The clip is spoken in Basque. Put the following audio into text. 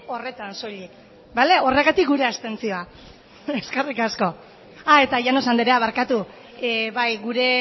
horretan soilik bale horregatik gure abstentzioa eta llanos anderea bai gure